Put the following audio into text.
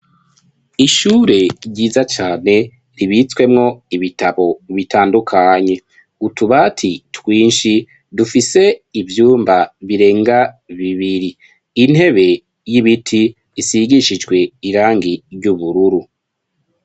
ishure ryiza cane ribitswemwo ibitabo bitandukanye. Utubati twinshi dufise ivyumba birenga bibiri .Intebe y'ibiti isigishijwe irangi ry'ubururu.